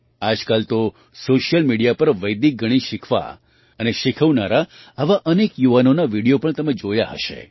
આજ કાલ તો સૉશિયલ મિડિયા પર વૈદિક ગણિત શીખવા અને શીખવનારા આવા અનેક યુવાનોના વિડિયો પણ તમે જોયા હશે